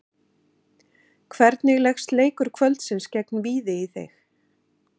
Hvernig leggst leikur kvöldsins gegn Víði í þig?